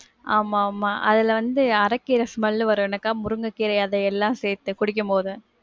ஆமா ஆமா. அதுல வந்து அரக்கீர smell வரும்ன அக்கா, முருங்க கீர, அது எல்லாம் சேத்து குடிக்கும்போது.